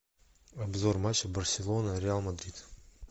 обзор матча барселона реал мадрид